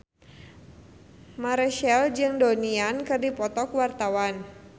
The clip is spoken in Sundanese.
Marchell jeung Donnie Yan keur dipoto ku wartawan